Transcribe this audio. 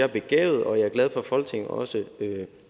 er begavet og jeg er glad for at folketinget også